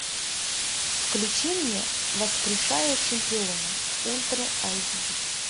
включи мне воскрешая чемпиона ультра айч ди